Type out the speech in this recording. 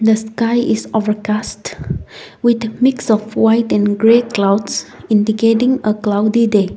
the sky is overcast with mix of white and grey clouds indicating a cloudy day.